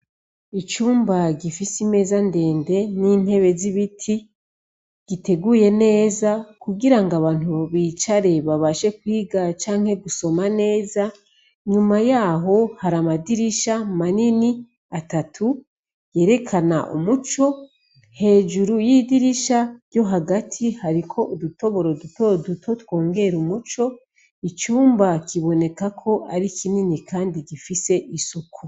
Icumba gifis'imeza ndende n'intebe z'ibiti, giteguye neza, kugirang'abantu bicare babashe kwiga canke gusoma neza, inyuma yaho har'amadirisha manin'atatu, yerekan' umuco, hejuru yidirisha ryo hagati harik'udutoboro dutoduto twonger'umuco. Icumba kiboneka k'ari kinini kandi gifis'isuku.